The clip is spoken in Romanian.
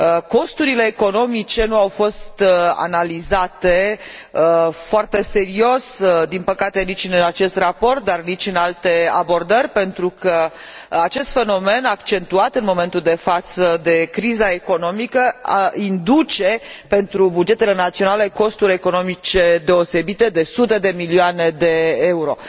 Costurile economice nu au fost analizate foarte serios, din păcate nici în acest raport, dar nici în alte abordări, pentru că acest fenomen, accentuat în momentul de față de criza economică, induce pentru bugetele naționale costuri economice deosebite, de sute de milioane de euro.